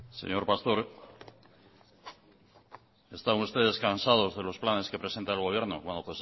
señor pastor están ustedes cansados de los planes que presenta el gobierno bueno